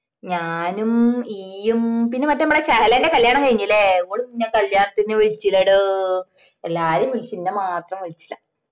ഞാനും ഇയ്യും പിന്നെ മറ്റേ മ്മളെ സഹലെന്റെ കല്യാണം കഴിഞ്ല്ലേ ഓള് ന്ന കല്യാണത്തിന് വിളിച്ചില്ലെടോ എല്ലാരേം വിളിചിനി എന്ന മാത്രം വിളിച്ചില്ല